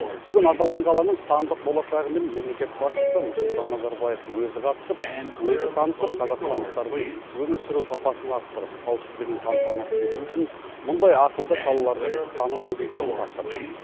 бүгін аталған қаланың сандық болашағымен мемлекет басшысы нұрсұлтан назарбаев өзі қатысып өзі танысып қазақстандықтардың өмір сүру сапасын арттырып қауіпсіздігін қамтамасыз ету үшін мұндай ақылды қалалардың санын көбейтуді тапсырды